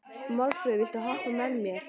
Málfríður, viltu hoppa með mér?